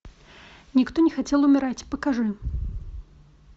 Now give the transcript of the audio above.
никто не хотел умирать покажи